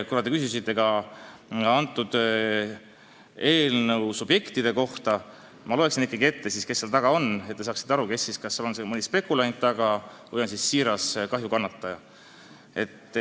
Kuna te küsisite ka eelnõu subjektide kohta, siis ma loeksin ikkagi ette, kes selle taga on, et te saaksite aru, kas need on mõned spekulandid või tõelised kahjukannatajad.